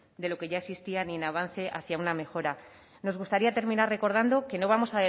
de lo que ya existía ni en avance hacia una mejora nos gustaría terminar recordando que no vamos